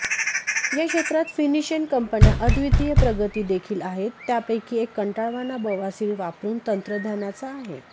या क्षेत्रात फिनीशियन कंपन्या अद्वितीय प्रगती देखील आहेत त्यापैकी एक कंटाळवाणा बवासीर वापरून तंत्रज्ञानाचा आहे